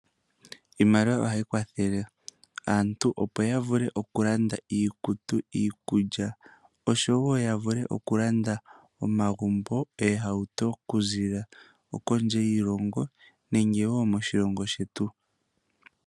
Iimaliwa ohayi kwathele aantu opo yavule okulanda iikutu, iikulya osho wo yavulu okulanda omagumbo, oohauto okuziilila kondje yiilongo nenge wo moshilongo shetu.